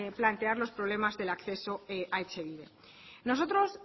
plantear los problemas del acceso a etxebide nosotros